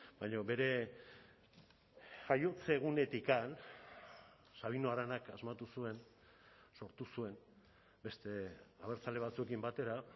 baina bere jaiotze egunetik sabino aranak asmatu zuen sortu zuen beste abertzale batzuekin batera